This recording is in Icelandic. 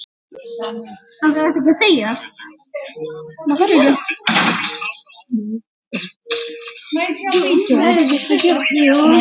Það rak mig þarna inn.